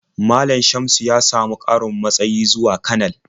Malam Shamsu ya samu ƙarin matsayi zuwa kanar.